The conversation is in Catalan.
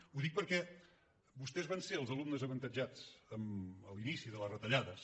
ho dic perquè vostès van ser els alumnes avantatjats a l’inici de les retallades